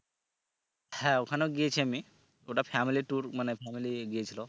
হ্যাঁ ওখানেও গিয়েছি আমি ওটা family tour মানে family গিয়েছিলো